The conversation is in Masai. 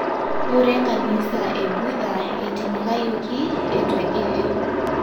Ngura enkanisa e Budha eitinyikayioki etu egili.